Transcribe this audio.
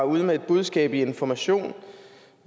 ude med et budskab i information